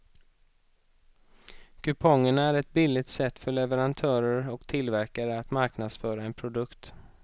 Kupongerna är ett billigt sätt för leverantörer och tillverkare att marknadsföra en produkt.